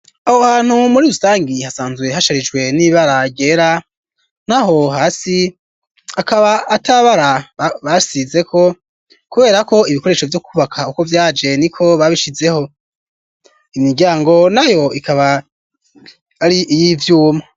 Aho hantu muri rusangi hasanzuye hasharijwe n'ibara ryera naho hasi akaba atabara basizeko kubera ko ibikoresho vyo kubaka uko vyaje ni ko babishizeho imiryango na yo ikaba ari iy'ivyuma.